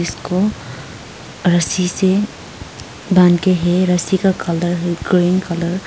रस्सी से बांध के है रस्सी का कलर ग्रीन कलर --